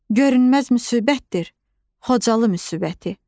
Görünməz müsibətdir Xocalı müsibəti.